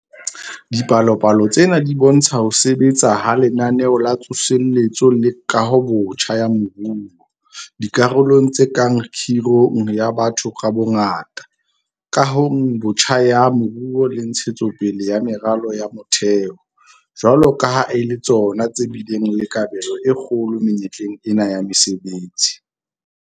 Dipalopalo tsena di bo ntsha ho sebetsa ha Lenaneo la Tsoseletso le Kahobotjha ya Moruo - dikarolong tse kang kgirong ya batho ka bongata, kahong botjha ya moruo le ntshetso pele ya meralo ya motheo - jwalo ka ha e le tsona tse bileng le kabelo e kgolo menyetleng ena ya mesebetsi.